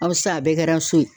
Ɔ sisan, a bɛɛ kɛra so ye.